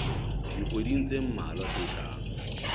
dikgweding tse mmalwa tse tlang